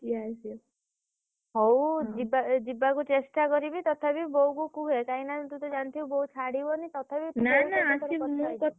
ହଉ ଯିବା ଯିବାକୁ ଚେଷ୍ଟା କରିବି ତଥାପି ବୋଉକୁ କୁହେ କାହିଁକିନା ତୁ ଜାଣିଥିବୁ ବୋଉ ଛାଡ଼ିବନି ତଥାପି ।